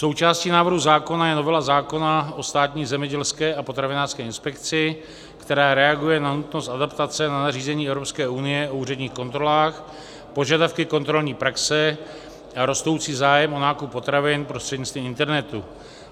Součástí návrhu zákona je novela zákona o Státní zemědělské a potravinářské inspekci, která reaguje na nutnost adaptace na nařízení EU u úředních kontrolách, požadavky kontrolní praxe a rostoucí zájem o nákup potravin prostřednictvím internetu.